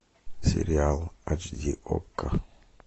сериал ач ди окко